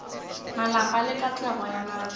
malapa le katlego ya batho